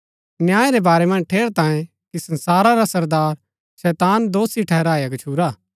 न्याय रै बारै मन्ज ठेरैतांये कि संसारा रा सरदार शैतान दोषी ठहराया गच्छुरा हा